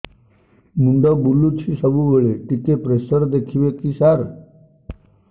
ମୁଣ୍ଡ ବୁଲୁଚି ସବୁବେଳେ ଟିକେ ପ୍ରେସର ଦେଖିବେ କି ସାର